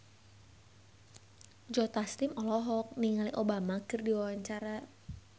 Joe Taslim olohok ningali Obama keur diwawancara